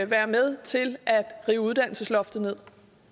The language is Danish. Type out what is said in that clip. være med til at rive uddannelsesloftet ned